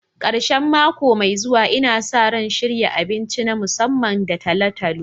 Karshen mako mai zuwa, Ina sa ran shirya abinci na musamman da talo-talo.